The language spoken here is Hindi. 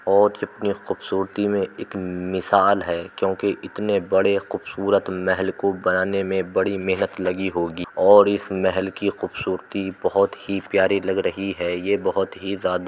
और खूबसूरती में एक मिशाल है क्यूंकि इतने बड़े खूबसूरत महल को बनाने में बड़ी मेंहनत लगी होगी और इस महल की खूबसूरती बहोत ही प्यारी लग रही है। ये बहोत ही ज्यादा --